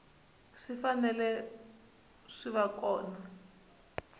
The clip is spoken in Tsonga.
swi fanele swi va kona